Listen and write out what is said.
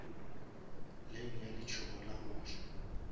lane ya letsogo la goja